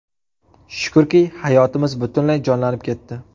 Shukrki, hayotimiz butunlay jonlanib ketdi.